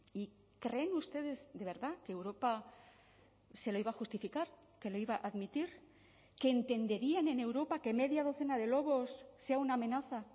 y creen ustedes de verdad que europa se lo iba a justificar que lo iba a admitir que entenderían en europa que media docena de lobos sea una amenaza